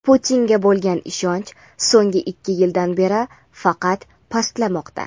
Putinga bo‘lgan ishonch so‘nggi ikki yildan beri faqat pastlamoqda.